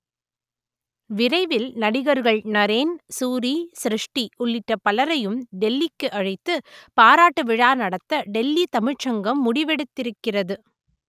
விரைவில் நடிகர்கள் நரேன் சூரி ஸ்ருஷ்டி உள்ளிட்ட பலரையும் டெல்லிக்கு அழைத்து பாராட்டு விழா நடத்த டெல்லி தமிழ்ச் சங்கம் முடிவெடுத்திருக்கிறது